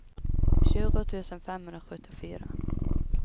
tjugo tusen femhundrasjuttiofyra